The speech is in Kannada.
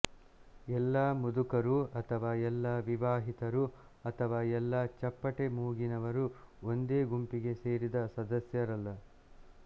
ಎಲ್ಲ ಮುದುಕರೂ ಅಥವಾ ಎಲ್ಲ ವಿವಾಹಿತರೂ ಅಥವಾ ಎಲ್ಲ ಚಪ್ಪಟೆ ಮೂಗಿನವರು ಒಂದೇ ಗುಂಪಿಗೆ ಸೇರಿದ ಸದಸ್ಯರಲ್ಲ